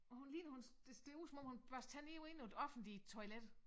Hun ligner hun det ser ud som om hun børster tænder inde på et offentligt toilet